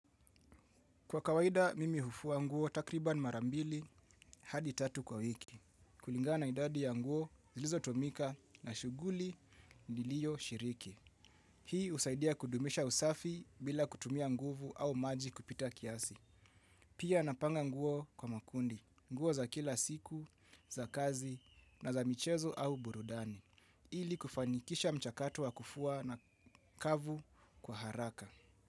Kwa kawaida, mimi hufua nguo takribani mara mbili hadi tatu kwa wiki. Kulingana na idadi ya nguo, zilizotumika na shughuli niliyo shiriki. Hii usaidia kudumisha usafi bila kutumia nguvu au maji kupita kiasi. Pia napanga nguo kwa makundi, nguo za kila siku, za kazi na za michezo au burudani. Ili kufanikisha mchakato wa kufua na kavu kwa haraka.